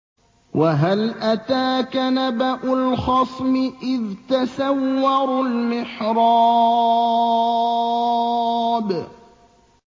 ۞ وَهَلْ أَتَاكَ نَبَأُ الْخَصْمِ إِذْ تَسَوَّرُوا الْمِحْرَابَ